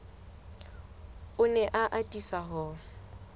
o ne a atisa ho